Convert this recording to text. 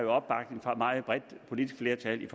opbakning fra et meget bredt politisk flertal i